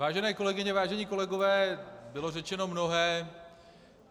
Vážené kolegyně, vážení kolegové, bylo řečeno mnohé.